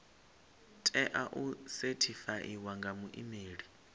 tea u sethifaiwa nga muimeli